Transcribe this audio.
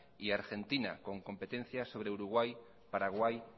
y argentina con competencias sobre uruguay paraguay